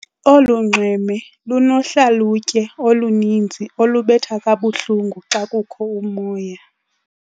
Olu nxweme lunohlalutye oluninzi olubetha kabuhlungu xa kukho umoya.